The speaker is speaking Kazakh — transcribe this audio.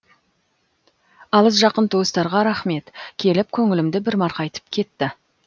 алыс жақын туыстарға рахмет келіп көңілімді бір марқайтып кетті